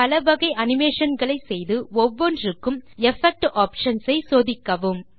பல வகை அனிமேஷன் களை செய்து ஒவ்வொன்றுக்கும் எஃபெக்ட் ஆப்ஷன்ஸ் ஐ சோதிக்கவும்